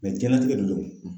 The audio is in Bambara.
diɲɛlatigɛ de don